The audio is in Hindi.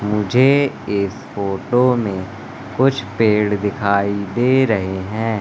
मुझे इस फोटो में कुछ पेड़ दिखाई दे रहे हैं।